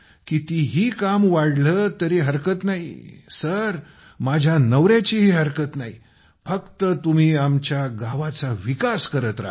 कितीही काम वाढले तरी हरकत नाहीसर माझ्या नवऱ्याचीही हरकत नाही फक्त तुम्ही आमच्या गावाचा विकास करत राहा